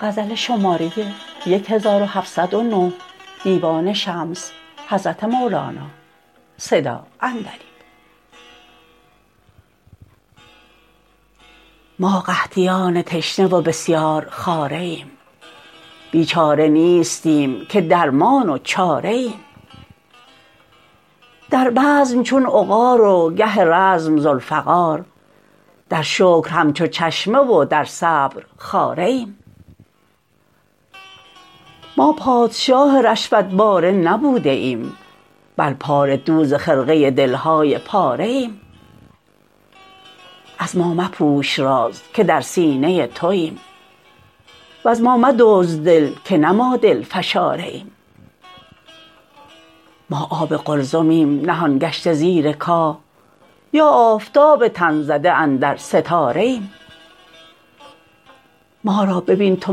ما قحطیان تشنه و بسیارخواره ایم بیچاره نیستیم که درمان و چاره ایم در بزم چون عقار و گه رزم ذوالفقار در شکر همچو چشمه و در صبر خاره ایم ما پادشاه رشوت باره نبوده ایم بل پاره دوز خرقه دل های پاره ایم از ما مپوش راز که در سینه توایم وز ما مدزد دل که نه ما دل فشاره ایم ما آب قلزمیم نهان گشته زیر کاه یا آفتاب تن زده اندر ستاره ایم ما را ببین تو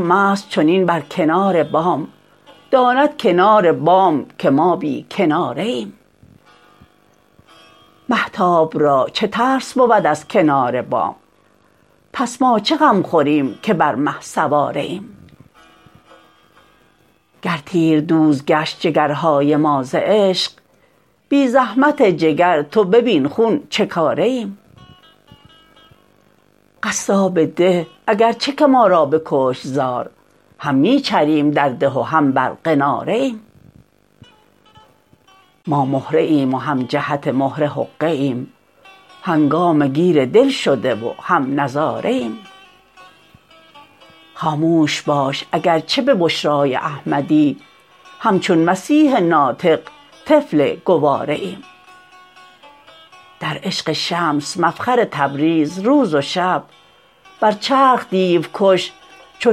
مست چنین بر کنار بام داند کنار بام که ما بی کناره ایم مهتاب را چه ترس بود از کنار بام پس ما چه غم خوریم که بر مه سواره ایم گر تیردوز گشت جگرهای ما ز عشق بی زحمت جگر تو ببین خون چه کاره ایم قصاب ده اگر چه که ما را بکشت زار هم می چریم در ده و هم بر قناره ایم ما مهره ایم و هم جهت مهره حقه ایم هنگامه گیر دل شده و هم نظاره ایم خاموش باش اگر چه به بشرای احمدی همچون مسیح ناطق طفل گواره ایم در عشق شمس مفخر تبریز روز و شب بر چرخ دیوکش چو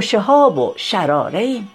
شهاب و شراره ایم